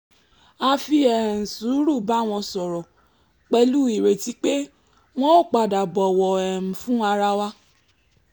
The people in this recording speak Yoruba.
a fi um sùúrù bá wọn sọ̀rọ̀ pẹ̀lú ìrètí pé won óò padà bọ̀wọ̀ um fún ara wa